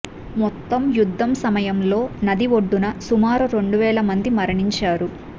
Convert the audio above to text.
మొత్తం యుద్ధం సమయంలో నది ఒడ్డున సుమారు రెండు వేల మంది మరణించారు